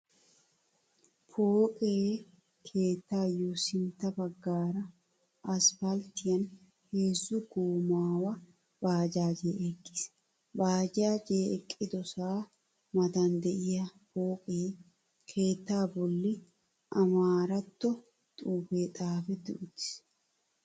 Pooqe keettaayo sintta baggaara, asppalttiyan heezzu goomaawa baajaajee eqqiis. Baajaajiyaa eqqidosaa matan de'iyaa pooqe keettaa bolli Amaaratto xuufee xaafetti uttiis.